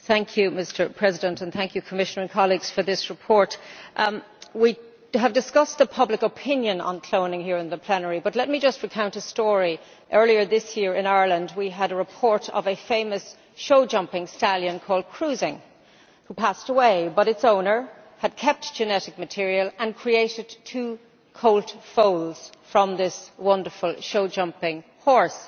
Mr President, I would like to thank the Commissioner and colleagues for this report. We have discussed the public opinion on cloning here in the plenary, but let me just recount a story earlier this year in Ireland, we had a report of a famous show jumping stallion called who passed away, but whose owner had kept genetic material and created two colt foals from this wonderful show jumping horse.